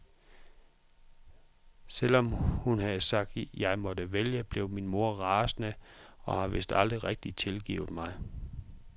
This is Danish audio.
Selvom hun havde sagt jeg måtte vælge blev min mor rasende og har vist aldrig rigtig tilgivet mig.